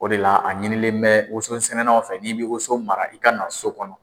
O de la a ɲinilen bɛ woso sɛnɛnaw fɛ n'i bɛ woso mara i ka na so kɔnɔ.